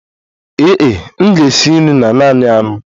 Ee e, m ga-esi nri na naanị anụ